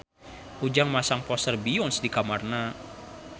Ujang masang poster Beyonce di kamarna